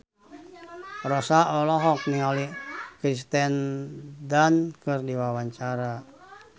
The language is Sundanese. Rossa olohok ningali Kirsten Dunst keur diwawancara